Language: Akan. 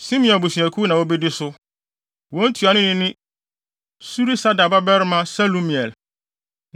Simeon abusuakuw na wobedi so. Wɔn ntuanoni ne Surisadai babarima Selumiel.